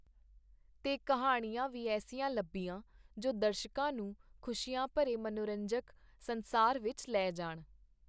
ਤੇ ਕਿਹਾਣੀਆਂ ਵੀ ਐੱਸੀਆਂ ਲੱਭੀਆਂ, ਜੋ ਦਰਸ਼ਕਾਂ ਨੂੰ ਖੁਸ਼ੀਆਂ ਭਰੇ ਮਨੋਰੰਜਕ ਸੰਸਾਰ ਵਿਚ ਲੈ ਜਾਣ.